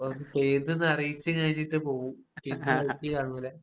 ഒന്ന് പെയ്‌തെന്ന് അറിയിച്ച് കഴിഞ്ഞിട്ട് പോകും. പിന്നെ ഈ വഴിക്ക് കാണൂല.